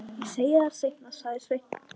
Ég segi þér það seinna, sagði Sveinn.